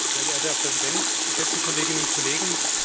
Sehr geehrter Herr Präsident, geschätzte Kolleginnen und Kollegen!